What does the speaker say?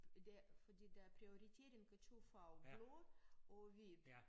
Det fordi der er prioritering af 2 farver blå og hvid